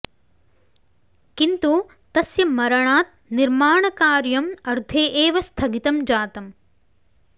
किन्तु तस्य मरणात् निर्माणकार्यम् अर्धे एव स्थगितं जातम्